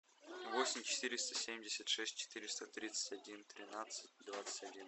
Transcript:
восемь четыреста семьдесят шесть четыреста тридцать один тринадцать двадцать один